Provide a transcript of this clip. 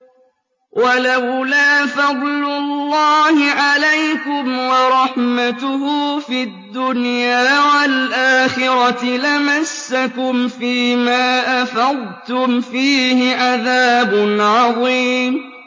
وَلَوْلَا فَضْلُ اللَّهِ عَلَيْكُمْ وَرَحْمَتُهُ فِي الدُّنْيَا وَالْآخِرَةِ لَمَسَّكُمْ فِي مَا أَفَضْتُمْ فِيهِ عَذَابٌ عَظِيمٌ